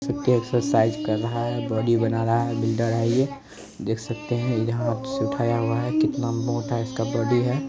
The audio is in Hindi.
एक्सरसाइज कर रहा है बॉडी बना रहा है बिल्डर है ये देख सकते है यहाँ उठाया हुआ है कितना मोटा इसका बॉडी है।